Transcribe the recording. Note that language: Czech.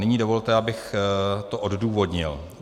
Nyní dovolte, abych to odůvodnil.